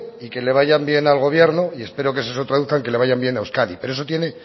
y que le vayan bien al gobierno y espero que eso se traduzca en que le vaya bien a euskadi pero eso tiene